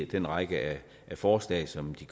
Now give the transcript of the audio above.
den række forslag som vi